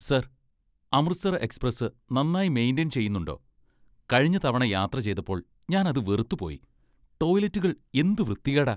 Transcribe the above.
Sir, Amritsar express നന്നായി maintain ചെയ്യുന്നുണ്ടോ? കഴിഞ്ഞ തവണ യാത്ര ചെയ്തപ്പോൾ ഞാൻ അത് വെറുത്തുപോയി . ടോയ്ലറ്റുകൾ എന്ത് വൃത്തികേടാ .